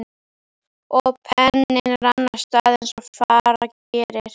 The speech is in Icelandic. Og penninn rann af stað eins og fara gerir.